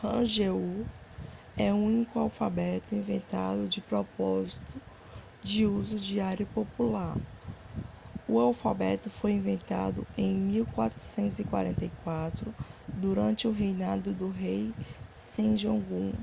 hangeul é o único alfabeto inventado de propósito de uso diário popular. o alfabeto foi inventado em 1444 durante o reinado do rei sejong